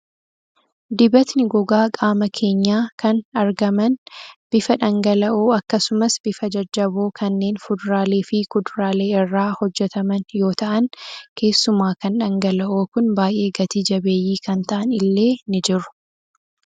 Dibatni gogaa qaama keenyaa kan argaman bifa dhangala'oo akkasumas bifa jajjaboo kanneen fuduraalee fi kuduraalee irraa hojjataman yoo ta'an keessumaa kan dhangala'oo Kun baay'ee Gati jabeeyyii kan ta'an illee ni jiru